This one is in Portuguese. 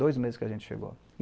Dois meses que a gente chegou.